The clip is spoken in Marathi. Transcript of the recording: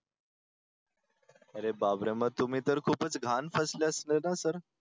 अरे बापरे. मग तुम्ही तर खूपच घाण फसले असते ना सर.